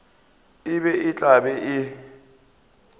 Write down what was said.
be e tla be e